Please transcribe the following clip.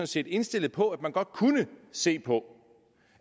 set indstillet på at man godt kunne se på